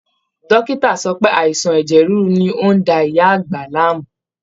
Dọ́kìtà sọ pé àìsàn ẹ̀jẹ̀ ríru ni ó ń da ìyá àgbà láàmú